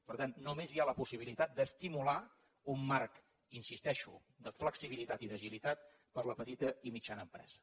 per tant només hi ha la possibilitat d’estimular un marc hi insisteixo de flexibilitat i d’agilitat per a la petita i mitjana empresa